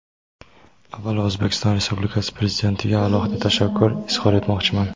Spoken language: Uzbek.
avvalo O‘zbekiston Respublikasi Prezidentiga alohida tashakkur izhor etmoqchiman.